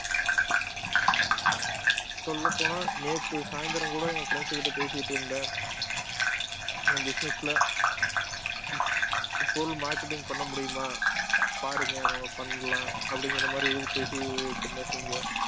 சொல்லப் போனால் நேத்து சாய்ந்தரம் கூட என் friends கிட்ட பேசிட்டு இருந்தேன் என் business ல பொருள் marketing பண்ண முடியுமா பாருங்க நம்ம பண்ணலாம் அப்படிங்கிற மாதிரி செஞ்சோம்